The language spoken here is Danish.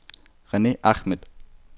Rene Ahmed